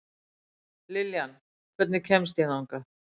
Liljan, hvernig kemst ég þangað?